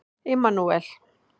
Immanúel